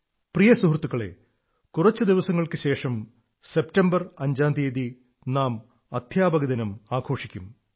പ്രിയ സുഹൃത്തുക്കളേ കുറച്ചു ദിവസങ്ങൾക്കു ശേഷം അഞ്ചു സെപ്റ്റംബറിന് നാം അധ്യാപകദിനം ആഘോഷിക്കും